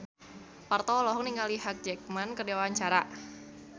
Parto olohok ningali Hugh Jackman keur diwawancara